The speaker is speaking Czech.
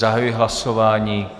Zahajuji hlasování.